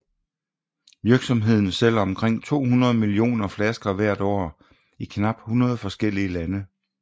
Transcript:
Virksomheden sælger omkring 200 millioner flasker hvert år i knap 100 forskellige lande